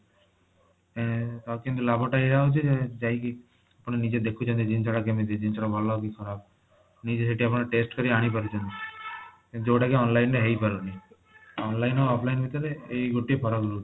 ଏଁ ହଉଚି ଲାଭ ଟା ଏଇଆ ହଉଛି କି ଯାଇକି ଆପଣ ନିଜେ ଦେଖୁଛନ୍ତି ଜିନିଷଟା କେମିତି ଜିନିଷଟା ଭଲ କି ଖରାପ ନିଜେ ସେଠି ଆପଣ test କରିକି ଆଣିପାରୁଛନ୍ତି ଯୋଊଟା କି online ରେ ହେଇପାରୁନି online ଆଉ offline ଭିତରେ ଏଇ ଗୋଟିଏ ଫରକ ରହୁଛି